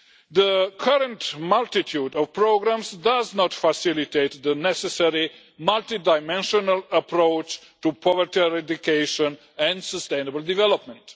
The current multitude of programmes does not facilitate the necessary multi dimensional approach to poverty eradication and sustainable development.